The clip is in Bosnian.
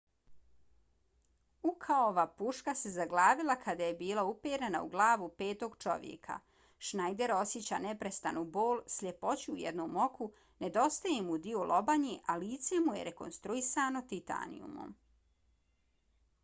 ukaova puška se zaglavila kada je bila uperena u glavu petog čovjeka. schneider osjeća neprestanu bol sljepoću u jednom oku nedostaje mu dio lobanje a lice mu je rekonstruisano titanijumom